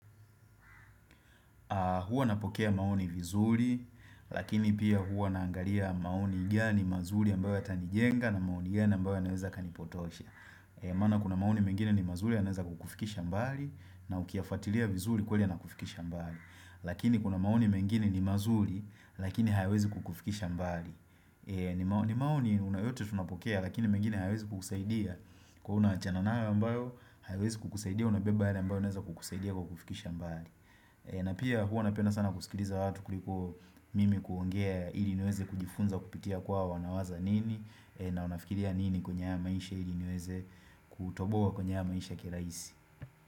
Hua napokea maoni vizuri, lakini pia hua naangalia maoni gani mazuri ambayo yatanijenga na maoni gani ambayo yanaweza kanipotosha. Maana kuna maoni mengine ni mazuri yanaweza kukufikisha mbali na ukiyafuatilia vizuri kweli yanakufikisha mbali. Lakini kuna maoni mengine ni mazuri, lakini hayawezi kukufikisha mbali. Ni maoni na yote tunapokea, lakini mengine hayawezi kukusaidia. Kua unaachana nayo ambayo, hayawezi kukusaidia, unabeba yale ambayo yanaweza kukusaidia kwa kukufikisha mbali. Na pia hua napenda sana kusikiliza watu kuliko mimi kuongea ili niweze kujifunza kupitia kwao wanawaza nini na unafikiria nini kwenye haya maisha ili niweze kutoboa kwenye maisha kirahisi.